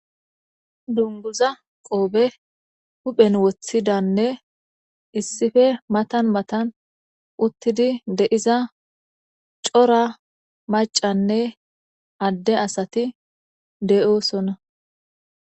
Dunguza qope huphen wothidanne issioe matan matan uttidi de,'iza cora macane adde asati de'osina